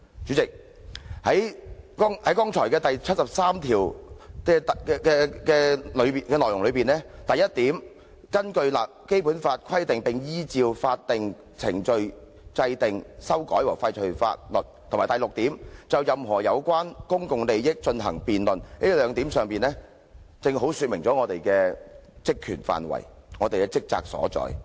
"主席，在我剛才引述《基本法》第七十三條的內容中，"一根據本法規定並依照法定程序制定、修改和廢除法律"及"六就任何有關公共利益問題進行辯論"這兩項規定，正好說明了議員的職權範圍和職責所在。